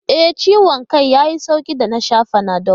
E, ciwon kan ya yi sauƙi da na sha Fanadol.